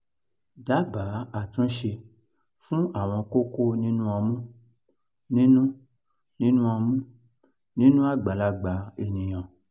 dabaa atunse fun awọn koko ninu ọmu ninu ninu ọmu ninu agbalagba eniyan